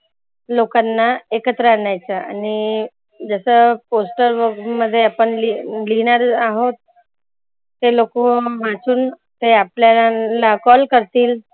लोकांना एकत्र आनायचं आणि जसं poster बघुन आपन लिहणार आहोत. ते लोकं वाचून ते आपल्याला call करतील